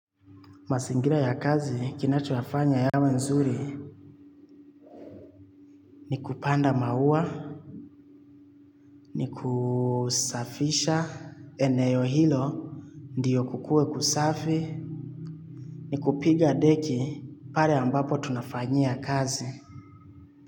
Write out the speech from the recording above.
Masingira ya kazi kinachoyafanya yawe nzuri ni kupanda maua, ni kusafisha eneo hilo, ndiyo kukue kusafi, ni kupiga deki pare ambapo tunafanyia kazi.